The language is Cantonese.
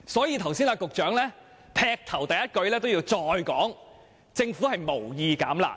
因此，局長剛才發言時，一開始便重申政府無意"減辣"。